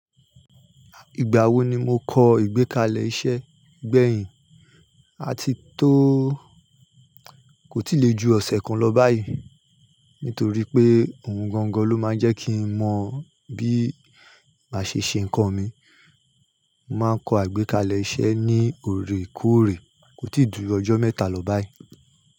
Ìgbà wo ni mo kọ ìgbékalẹ̀ iṣẹ́ gbẹ̀yìn àti tó kò tí lè ju ọ̀sẹ̀ kan lọ báyìí. Nítorí pé ohun gangan ló máa ń jẹ́ kí n mọ bí màá ṣe ṣe nǹkan mi. Mo máa ń kọ àgbékalẹ̀ iṣẹ́ ní òrèkóòrè kò tíì dúró ọjọ́ mẹ́ta lọ báyìí.